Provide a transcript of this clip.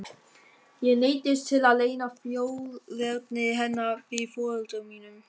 Ég neyddist til að leyna þjóðerni hennar fyrir foreldrum mínum.